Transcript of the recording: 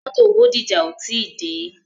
Mótò Bódìjà ò tí dé.